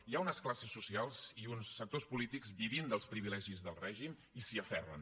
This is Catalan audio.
hi ha unes classes socials i uns sectors polítics que viuen dels privilegis del règim i s’hi aferren